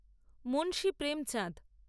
Munshi Premchand